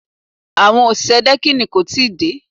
Àwọn òṣìṣẹ́ dẹ́kìnì kò tí ì dé